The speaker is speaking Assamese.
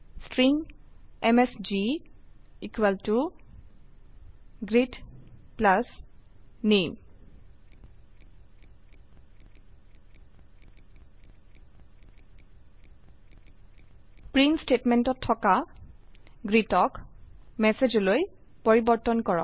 ষ্ট্ৰিং এমএছজি ইকোৱেল ত গ্ৰীট প্লাছ নামে প্ৰিন্ট স্টেটমেন্টত থকা গ্ৰীট printlnক মেছেজপ্ৰিণ্টলন লৈ পৰিবৰ্তন কৰক